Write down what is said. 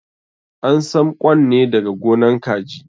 An sam ƙwan ne daga gonan kaji.